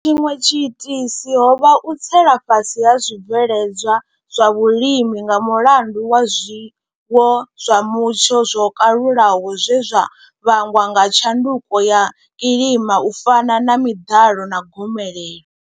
Tshiṅwe tshiitisi ho vha u tsela fhasi ha zwibveledzwa zwa vhulimi nga mulandu wa zwiwo zwa mutsho zwo kalulaho zwe zwa vhangwa nga tshanduko ya kilima u fana na miḓalo na gomelelo.